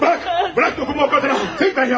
Bax, burax, toxunma o qadına!